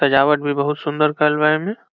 सजवाट भी बहुत सुंदर करल बा ऐमें।